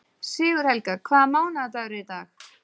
Sigurhelga, hvaða mánaðardagur er í dag?